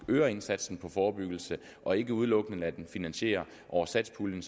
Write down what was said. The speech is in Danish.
øger indsatsen på forebyggelse og ikke udelukkende lader den finansiere over satspuljen